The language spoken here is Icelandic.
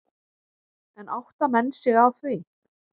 En átta menn sig á því?